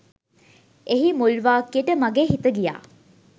එහි මුල් වාක්‍යට මගේ හිත ගියා.